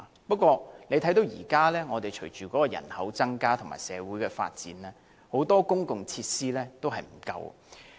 不過，隨着人口增加和社會發展，現時很多公共設施已不足夠。